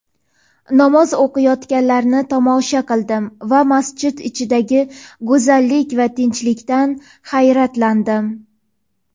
Namoz o‘qiyotganlarni tomosha qildim va masjid ichidagi go‘zallik va tinchlikdan hayratlandim.